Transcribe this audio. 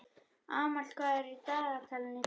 Amal, hvað er í dagatalinu í dag?